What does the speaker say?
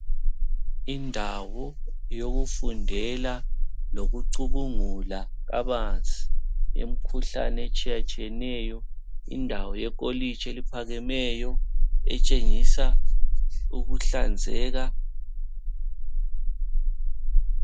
Indawo yokufundela lokucubungula kabanzi yemkhuhlane etshiyatshiyeneyo .Indawo ye kolitshi eliphakemeyo etshengisa ukuhlanzeka.